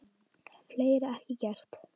Fleiri ekki gert.